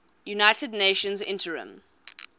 united nations interim